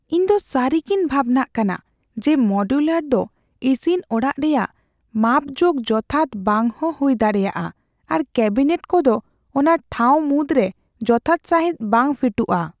ᱤᱧᱫᱚ ᱥᱟᱹᱨᱤᱜᱮᱧ ᱵᱷᱟᱵᱽᱱᱟᱜ ᱠᱟᱱᱟ ᱡᱮ ᱢᱚᱰᱩᱞᱟᱨ ᱫᱚ ᱤᱥᱤᱱ ᱚᱲᱟᱜ ᱨᱮᱭᱟᱜ ᱢᱟᱯᱡᱳᱜ ᱡᱚᱛᱷᱟᱛ ᱵᱟᱝᱦᱚᱸ ᱦᱩᱭ ᱫᱟᱲᱮᱭᱟᱜᱼᱟ ᱟᱨ ᱠᱮᱹᱵᱤᱱᱮᱴ ᱠᱚᱫᱚ ᱚᱱᱟ ᱴᱷᱟᱶ ᱢᱩᱫᱽᱨᱮ ᱡᱚᱛᱷᱟᱛ ᱥᱟᱹᱦᱤᱡ ᱵᱟᱝ ᱯᱷᱤᱴᱚᱜᱼᱟ ᱾